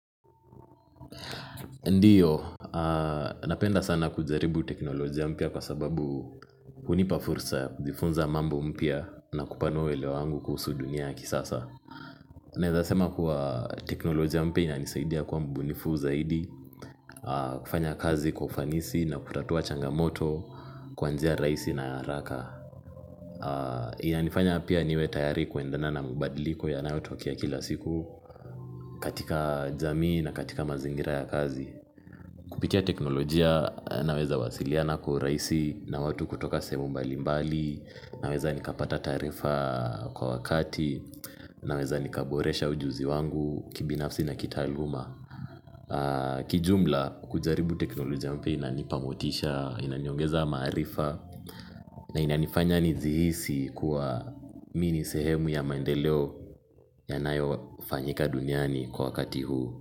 Ndio, napenda sana kujaribu teknolojia mpya kwa sababu hunipa fursa ya kujifunza mambo mpya na kupanua uelewa wangu kuhusu dunia ya kisasa naeza sema kuwa teknolojia mpya inanisaidia kwa mbunifu zaidi, kufanya kazi kwa kufanisi na kutatua changamoto, kwanjia rahisi na haraka inanifanya pia niwe tayari kuendana na mabadiliko yanayo tokea kila siku katika jamii na katika mazingira ya kazi kupitia teknolojia naweza wasiliana kwa urahisi na watu kutoka sehemu mbalimbali, naweza nikapata taarifa kwa wakati, naweza nikaboresha ujuzi wangu kibinafsi na kitaaluma. Kijumla kujaribu teknolojia mpya inanipa motisha inaniongeza maarifa na inanifanya nijihisi mi ni sehemu ya maendeleo yanayo fanyika duniani kwa wakati huu.